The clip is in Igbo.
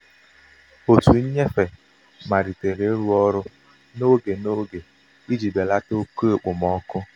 òtù nnyefe malitere ịrụ ọrụ um n'oge n'oge iji belata oke okpomọkụ